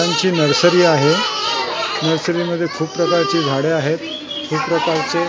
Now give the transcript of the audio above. त्यांची नर्सरी आहे नर्सरीमध्ये खूप प्रकारची झाडे आहेत खूप प्रकारचे--